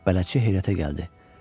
Bələdçi heyrətə gəldi.